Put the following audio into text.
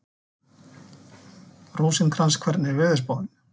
Rósinkrans, hvernig er veðurspáin?